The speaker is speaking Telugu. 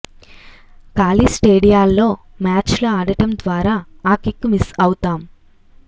ఖాళీ స్టేడియాల్లో మ్యాచ్లు ఆడటం ద్వారా ఆ కిక్కు మిస్ అవుతాం